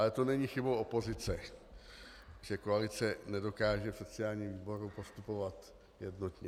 Ale to není chybou opozice, že koalice nedokáže v sociálním výboru postupovat jednotně.